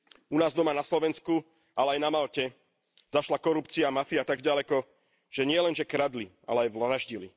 U nás doma na Slovensku, ale aj na Malte zašla korupcia a mafia tak ďaleko, že nielen, že kradli, ale aj vraždili.